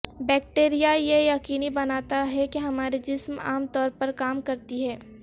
bacteria یہ یقینی بناتا ہے کہ ہمارے جسم عام طور پر کام کرتی ہیں